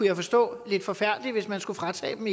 jeg forstå lidt forfærdeligt hvis man skulle fratage dem